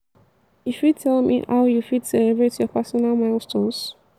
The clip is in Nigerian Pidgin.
you fit tell me how you fit celebrate your personal milestones?